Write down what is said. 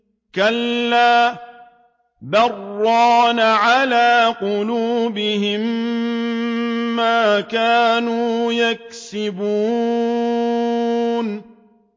كَلَّا ۖ بَلْ ۜ رَانَ عَلَىٰ قُلُوبِهِم مَّا كَانُوا يَكْسِبُونَ